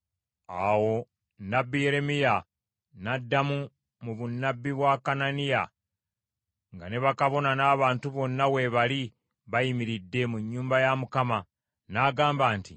Awo nnabbi Yeremiya n’addamu mu bunnabbi bwa Kananiya nga ne bakabona n’abantu bonna we bali bayimiridde mu nnyumba ya Mukama , n’agamba nti,